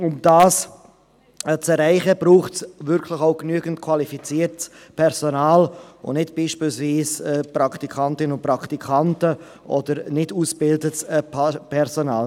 Um dieses zu erreichen, braucht es wirklich genügend qualifiziertes Personal und nicht beispielsweise Praktikantinnen und Praktikanten oder nicht ausgebildetes Personal.